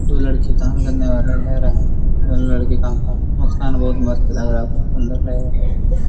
दो लड़की वाला ले रहे हैं | दोनों लड़की मुस्कान बहुत मस्त लग रहा है बहुत सुन्दर लग रहा है |